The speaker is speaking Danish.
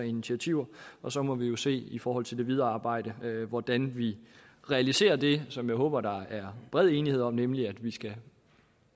initiativer og så må vi jo se i forhold til det videre arbejde hvordan vi realiserer det som jeg håber der er bred enighed om nemlig at vi